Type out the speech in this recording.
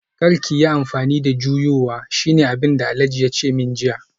Kar ki yi amfani da juyowa shine abinda Alhaji yace min jiya